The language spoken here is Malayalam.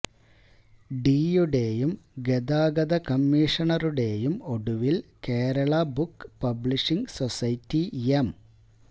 ഡിയുടെയും ഗതാഗത കമ്മീഷണറുടെയും ഒടുവില് Kerala book publishing society M